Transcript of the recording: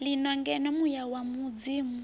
lino ngeno muya wa mudzimu